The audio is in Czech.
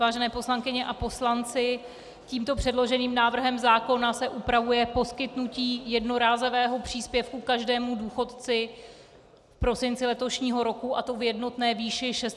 Vážené poslankyně a poslanci, tímto předloženým návrhem zákona se upravuje poskytnutí jednorázového příspěvku každému důchodci v prosinci letošního roku, a to v jednotné výši 600 korun.